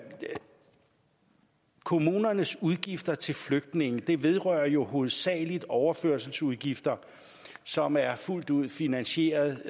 kommunernes udgifter til flygtninge vedrører jo hovedsagelig overførselsudgifter som er fuldt ud finansieret